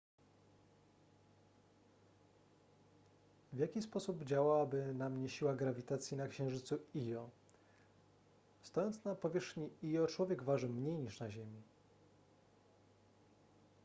w jaki sposób działałaby na mnie siła grawitacji na księżycu io stojąc na powierzchni io człowiek waży mniej niż na ziemi